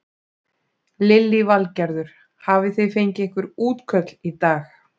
Lillý Valgerður: Hafi þið fengið einhver útköll í dag?